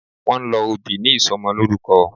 Wón ń lọ òbí ní Ìsọmọlọ́rúkọ